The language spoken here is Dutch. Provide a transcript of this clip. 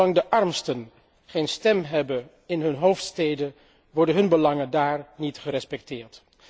Zolang de armsten geen stem hebben in hun hoofdsteden, worden hun belangen daar niet gerespecteerd.